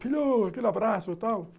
Filho, aquele abraço e tal.